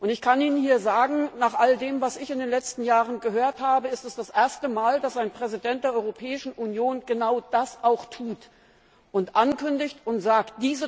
Ich kann Ihnen sagen, nach all dem, was ich in den letzten Jahren gehört habe, ist es das erste Mal, dass ein Präsident der Europäischen Union genau das auch tut und ankündigt und sagt!